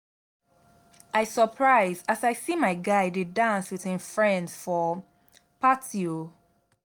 i surprise as i see my guy dey dance with him friends for party o